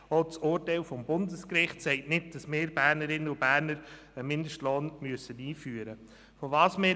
Auch das Urteil des Bundesgerichts sagt nicht, dass wir Bernerinnen und Berner einen Mindestlohn einführen müssen.